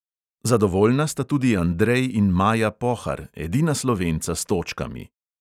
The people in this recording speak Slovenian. Zadovoljna sta tudi andrej in maja pohar, edina slovenca s točkami.